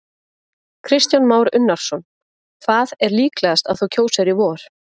Kristján Már Unnarsson: Hvað er líklegast að þú kjósir í vor?